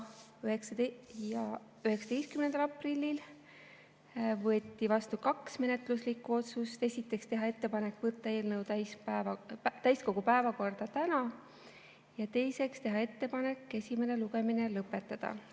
19. aprillil võeti vastu kaks menetluslikku otsust: esiteks, teha ettepanek võtta eelnõu täiskogu päevakorda täna, ja teiseks, teha ettepanek esimene lugemine lõpetada.